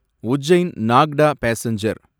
Ujjain Nagda passenger